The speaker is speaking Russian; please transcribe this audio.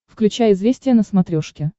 включай известия на смотрешке